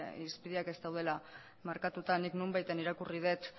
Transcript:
irizpideak ez daudela markatuta nik nonbaiten irakurri dut